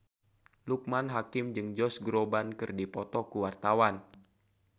Loekman Hakim jeung Josh Groban keur dipoto ku wartawan